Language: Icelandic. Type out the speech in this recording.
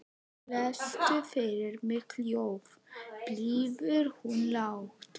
Lestu fyrir mig ljóð, biður hún lágt.